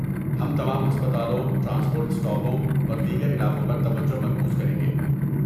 ہم تمام ہسپتالوں، ٹرانسپورٹ اسٹاپوں اور دیگر علاقوں پر توجہ مرکوز کریں گے۔